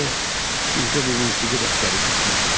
Oh, bircə bu musiqi dərsləri çatmırdı.